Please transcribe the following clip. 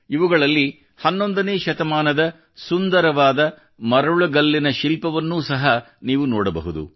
ಇವುಗಳಲ್ಲಿ 11 ನೇ ಶತಮಾನದ ಸುಂದರವಾದ ಮರಳುಗಲ್ಲಿನ ಶಿಲ್ಪವನ್ನು ಸಹ ನೀವು ನೋಡಬಹುದು